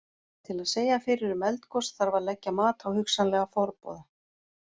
Til að segja fyrir um eldgos þarf að leggja mat á hugsanlega forboða.